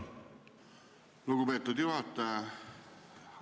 Lugupeetud juhataja!